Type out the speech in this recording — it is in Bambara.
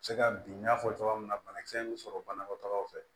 Se ka bin n y'a fɔ cogoya min na banakisɛ in bɛ sɔrɔ banakɔtagaw fɛ